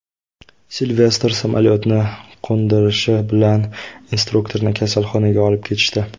Silvestr samolyotni qo‘ndirishi bilan instruktorni kasalxonaga olib ketishdi.